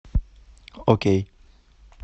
окей